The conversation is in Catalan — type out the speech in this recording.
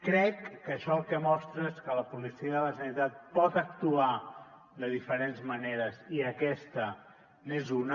crec que això el que mostra és que la policia de la generalitat pot actuar de diferents maneres i aquesta n’és una